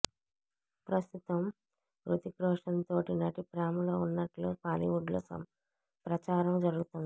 ప్రస్తుతం హృతిక్ రోషన్ తోటి నటి ప్రేమలో ఉన్నట్లు బాలీవుడ్లో ప్రచారం జరుగుతున్నది